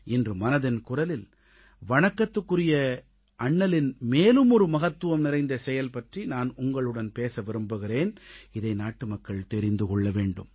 இன்று மனதின் குரலில் வணக்கத்திற்குரிய அண்ணலின் மேலும் ஒரு மகத்துவம் நிறைந்த செயல் பற்றி நான் உங்களுடன் பேச விரும்புகிறேன் இதை நாட்டுமக்கள் தெரிந்து கொள்ள வேண்டும்